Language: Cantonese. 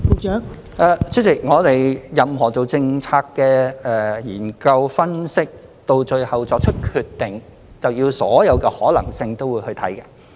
代理主席，我們進行任何政策研究、分析，到最後作出決定，是需要考慮所有可能性的。